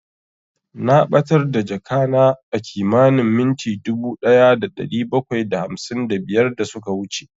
Na ɓatar da jakana a kimanin minti dubu ɗaya da ɗari bakwai da hamsin da biyar da suka wuce